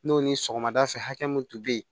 N'o ni sɔgɔmada fɛ hakɛ mun tun bɛ yen